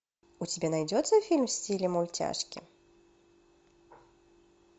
у тебя найдется фильм в стиле мультяшки